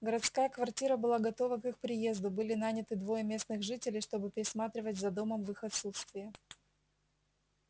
городская квартира была готова к их приезду были наняты двое местных жителей чтобы присматривать за домом в их отсутствие